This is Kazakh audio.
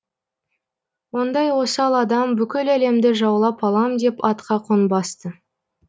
ондай осал адам бүкіл әлемді жаулап алам деп атқа қонбас ты